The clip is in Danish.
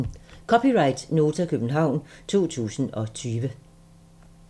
(c) Nota, København 2020